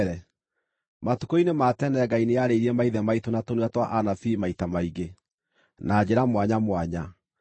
Matukũ-inĩ ma tene Ngai nĩarĩirie maithe maitũ na tũnua twa anabii maita maingĩ, na njĩra mwanya mwanya,